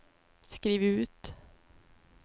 skriv ut